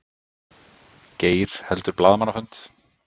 Geir heldur blaðamannafund